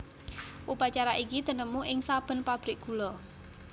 Upacara iki tinemu ing saben pabrik gula